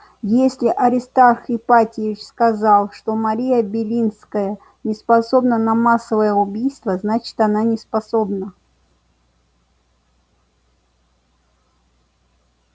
если аристарх ипатьевич сказал что мария белинская не способна на массовое убийство значит она неспособна